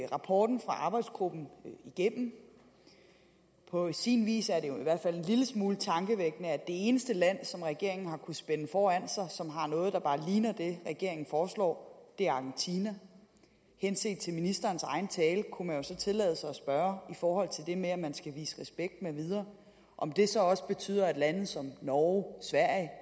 rapporten fra arbejdsgruppen igennem på sin vis er det jo i hvert fald en lille smule tankevækkende at det eneste land som regeringen har kunnet spænde foran sig og som har noget der bare ligner det regeringen foreslår er argentina henset til ministerens egen tale kunne man jo så tillade sig at spørge i forhold det med at man skal vise respekt mv om det så også betyder at lande som norge sverige og